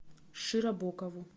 широбокову